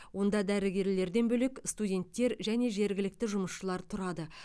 онда дәрігерлерден бөлек студенттер және жергілікті жұмысшылар тұрады